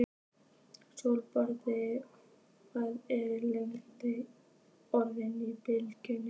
Sólborg, hvað er lengi opið í Brynju?